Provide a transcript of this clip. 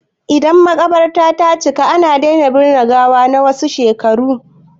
Idan maƙabarta ta cika, ana daina binne gawa na wasu shekaru.